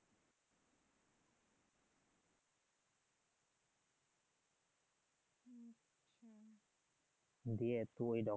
দিয়ে টু এ